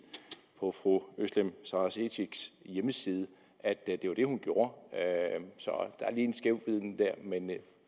på fru özlem sara cekics hjemmeside at det var det hun gjorde så der er lige en skævvridning der men